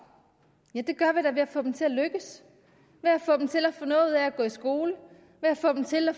ja det gør vi da ved at få dem til at lykkes ved at få dem til at få noget ud af at gå i skole ved at få dem til at